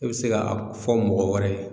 I bɛ se ka fɔ mɔgɔ wɛrɛ ye